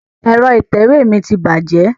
Ẹ̀rọ ìtẹ̀wé mi ti bàjẹ́.